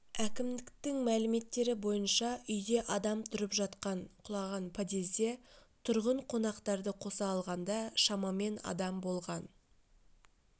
әкімдіктің мәліметтері бойынша үйде адам тұрып жатқан құлаған подъезде тұрғын қонақтарды қоса алғанда шамамен адам болған